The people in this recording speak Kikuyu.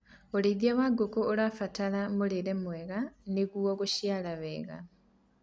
ũrĩithi wa ngũkũ ũrabatara mũrĩre mwega nĩguo guciara wega